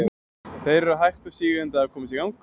Þeir eru hægt og sígandi að komast í gang.